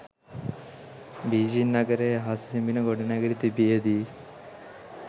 Beijing නගරයේ අහස සිඹින ගොඩනැගිලි තිබියදී